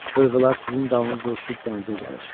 Qırğılar sizin dalınızca uçub dənizə gəlir.